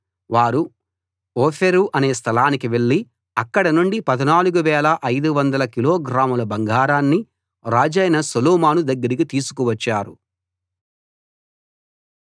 వారు ఓఫీరు అనే స్థలానికి వెళ్ళి అక్కడ నుండి 14 500 కిలోగ్రాముల బంగారాన్ని రాజైన సొలొమోను దగ్గరికి తీసుకువచ్చారు